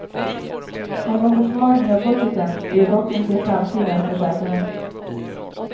Någon försvagning av budgeten blir det dock inte i framtiden, försäkrar han.